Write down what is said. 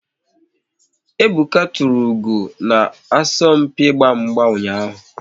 Ebuka tụrụ ugo na asọmpi ịgba mgba ụnyaahụ